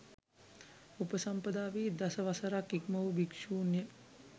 උපසම්පදා වී දසවසරක් ඉක්ම වූ භික්ෂූන්ය